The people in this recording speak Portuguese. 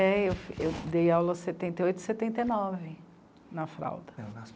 É, eu, eu dei aula em setenta e oito, setenta e nove, na fralda.